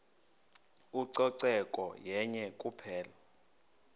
ucoceko yenye kuphela